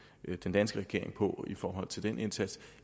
danske regering på i forhold til den indsats